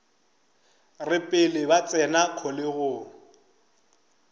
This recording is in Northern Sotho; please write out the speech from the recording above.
re pele ba tsena kgolegong